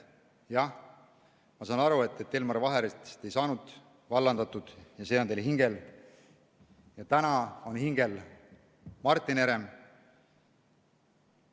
Jah, ma saan aru, et Elmar Vaherit ei saanud vallandatud ja see on teil hingel ja täna on hingel Martin Herem.